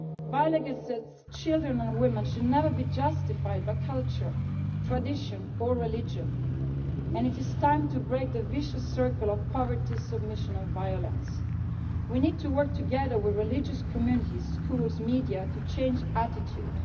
Violence against children and women should never be justified by culture, tradition or religion, and it is time to break the vicious circle of poverty, submission and violence. We need to work together with religious communities, schools and the media to change attitudes.